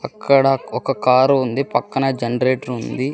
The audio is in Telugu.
అక్కడ ఒక కారు ఉంది పక్కన జనరేటర్ ఉంది.